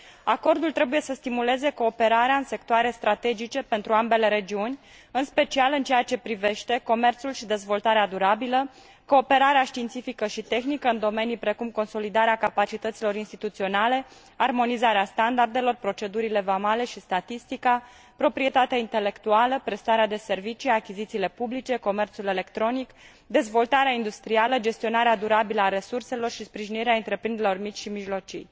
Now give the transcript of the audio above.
Acordul trebuie să stimuleze cooperarea în sectoare strategice pentru ambele regiuni, în special în ceea ce privește comerțul și dezvoltarea durabilă, cooperarea științifică și tehnică în domenii precum consolidarea capacităților instituționale, armonizarea standardelor, procedurile vamale și statistica, proprietatea intelectuală, prestarea de servicii, achizițiile publice, comerțul electronic, dezvoltarea industrială, gestionarea durabilă a resurselor și sprijinirea întreprinderilor mici și mijlocii.